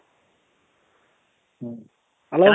hello,